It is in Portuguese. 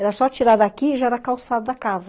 Era só tirar daqui e já era a calçada da casa.